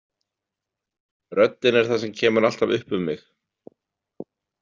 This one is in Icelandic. Röddin er það sem kemur alltaf upp um mig.